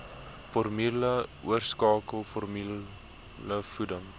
formule oorskakel formulevoeding